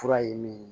Fura ye min ye